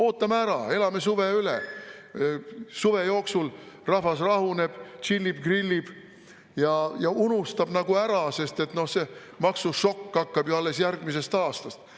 Ootame ära, elame suve üle, suve jooksul rahvas rahuneb, tšillib-grillib ja unustab ära, sest see maksušokk hakkab ju alles järgmisest aastast.